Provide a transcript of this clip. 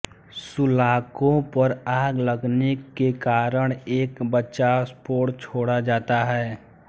सुलाको पर आग लगने के कारण एक बचाव पोड छोड़ा जाता है